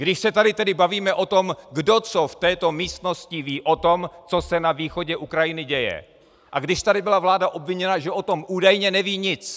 Když se tady tedy bavíme o tom, kdo co v této místnosti ví o tom, co se na východě Ukrajiny děje, a když tady byla vláda obviněna, že o tom údajně neví nic.